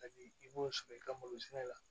Ka di i b'o sɔrɔ i ka malo sɛnɛ la